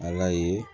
Ala ye